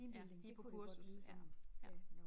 Ja de på kursus ja ja